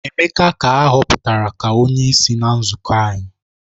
Emeka ka a hoputara ka onyeisi na nzuko anyi